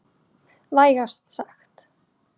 Vægast sagt.